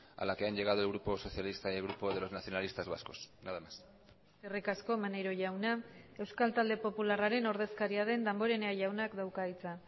a la que han llegado el grupo socialista y el grupo de los nacionalistas vascos nada más eskerrik asko maneiro jauna euskal talde popularraren ordezkaria den damborenea jaunak dauka hitza